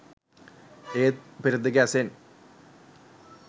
ඒත් පෙරදිග ඇසෙන්